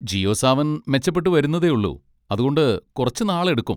ജിയോ സാവൻ മെച്ചപ്പെട്ടു വരുന്നതേയുള്ളു, അതുകൊണ്ട് കുറച്ച് നാളെടുക്കും.